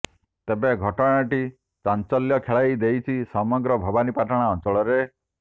ତେବେ ଘଟଣାଟି ଚାଞ୍ଚଲ୍ୟ ଖେଳାଇ ଦେଇଛି ସମଗ୍ର ଭବାନୀପାଟଣା ଅଞ୍ଚଳରେ